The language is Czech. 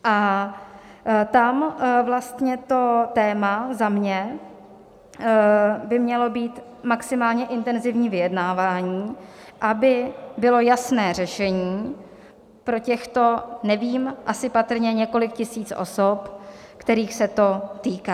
A tam vlastně to téma za mě by mělo být maximálně intenzivní vyjednávání, aby bylo jasné řešení pro těchto, nevím, asi patrně několik tisíc osob, kterých se to týká.